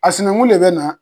A sinɛnkun ne bɛ na